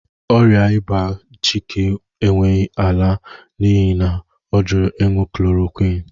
qỌrịa ịba Chike ekweghị àlà n'ihi na ọ jụrụ ịñụ chloroquine